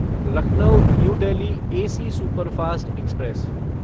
Lucknow new Delhi AC superfast express